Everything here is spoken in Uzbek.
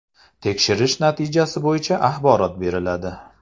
Tekshirish natijasi bo‘yicha axborot beriladi.